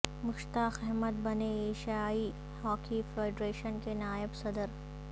مشتاق احمد بنے ایشیائی hockey federation کے نائب صدر